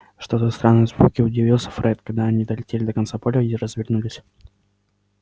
что за странные звуки удивился фред когда они долетели до конца поля и развернулись